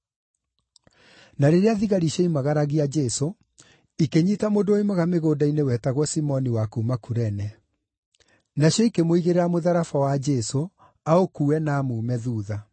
Na rĩrĩa thigari cioimagaragia Jesũ, ikĩnyiita mũndũ woimaga mĩgũnda-inĩ wetagwo Simoni wa kuuma Kurene. Nacio ikĩmũigĩrĩra mũtharaba wa Jesũ aũkuue na amuume thuutha.